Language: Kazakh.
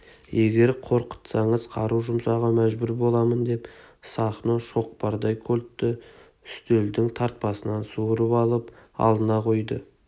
егер қорқытсаңыз қару жұмсауға мәжбүр боламын деп сахно шоқпардай кольтті үстелдің тартпасынан суырып алып алдына қойды